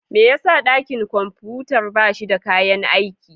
Me yasa dakin kwamfutar ba shi da kayan aiki?